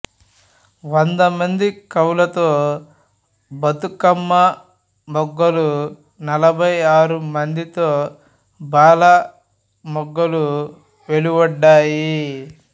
వందమంది కవులతో బతుకమ్మ మొగ్గలు నలభై ఆరు మందితో బాలల మొగ్గలు వెలువడ్డాయి